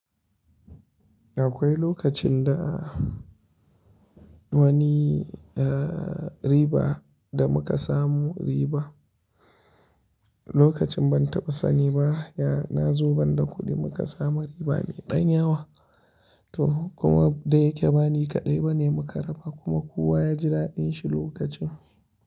Akwai lokacin da wani riba da muka samu riba, lokacin ban taɓa sani ba, ya na zuwa banda kuɗi muka samu riba mai ɗan yawa. To kuma da yake ba ni kaɗai bane muka raba kuma kowa ya ji daɗin shi lokacin.